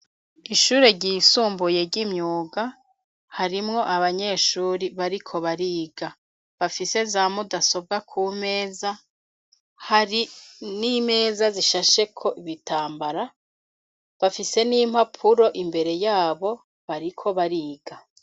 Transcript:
Ishure ryisumbuye, ry'imyuga, harimwo abanyeshuri bariko bariga; bafise za mudasobwa ku meza, hari n'imeza zishasheko ibitambara; bafise n'impapuro imbere y'abo, bariko bariga.